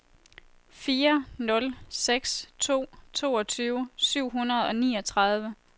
fire nul seks to toogtyve syv hundrede og niogtredive